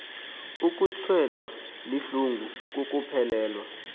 ukutshelwa lihlungu kukuphelelwa